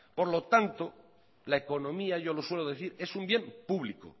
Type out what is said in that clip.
por lo tanto la economía yo lo suelo decir es un bien público